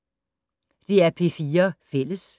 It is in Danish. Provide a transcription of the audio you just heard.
DR P4 Fælles